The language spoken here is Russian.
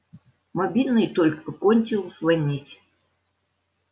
мобильный только кончил звонить